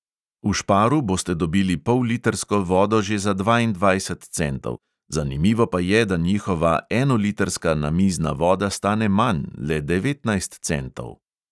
V šparu boste dobili pollitrsko vodo že za dvaindvajset centov, zanimivo pa je, da njihova enolitrska namizna voda stane manj, le devetnajst centov.